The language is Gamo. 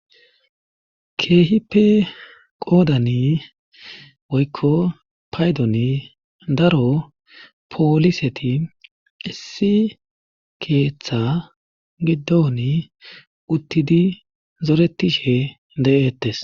keehipe qoodani woykko paydoni daro pooliseti issi keeththa giddoni uttidi zoretishe de7ettes